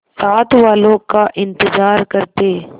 साथ वालों का इंतजार करते